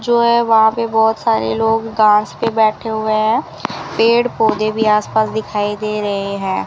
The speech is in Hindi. जो है वहां पे बहोत सारे लोग घास पे बैठे हुए हैं पेड़ पौधे भी आसपास दिखाई दे रहे हैं।